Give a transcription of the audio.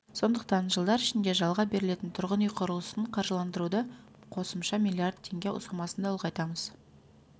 сондықтан жылдар ішінде жалға берілетін тұрғын үй құрылысын қаржыландыруды қосымша миллиард теңге сомасында ұлғайтамыз